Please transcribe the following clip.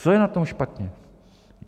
Co je na tom špatně?